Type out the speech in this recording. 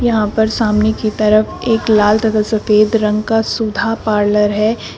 यहां पर सामने की तरफ एक लाल तथा सफेद रंग का सुधा पार्लर है।